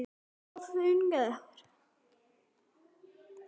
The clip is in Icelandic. Of ungur.